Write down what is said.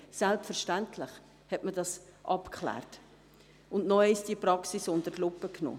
Selbstverständlich hat man dies abgeklärt und die Praxis noch einmal unter die Lupe genommen.